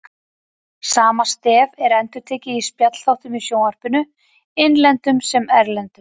Sama stef er endurtekið í spjallþáttum í sjónvarpinu, innlendum sem erlendum.